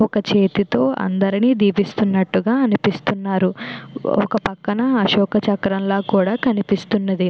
ఒక చేతితో అందరిని దీవిస్తున్నట్టుగా అనిపిస్తున్నారు ఒక పక్కన అశోక చక్రం లా కూడా కనిపిస్తున్నది.